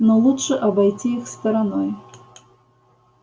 но лучше обойти их стороной